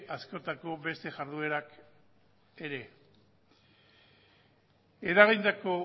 askotako beste jarduerak ere eragindako